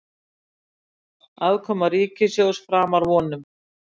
Afkoma ríkissjóðs framar vonum